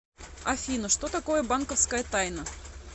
афина что такое банковская тайна